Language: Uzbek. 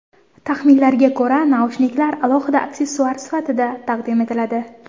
Taxminlarga ko‘ra, naushniklar alohida aksessuar sifatida taqdim etiladi.